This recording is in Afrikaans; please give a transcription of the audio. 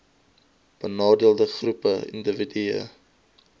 benadeelde groepe indiwidue